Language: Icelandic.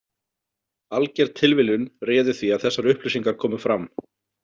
Alger tilviljun réði því að þessar upplýsingar komu fram.